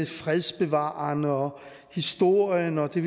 fredsbevarende og historienog at det